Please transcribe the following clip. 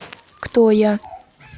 кто я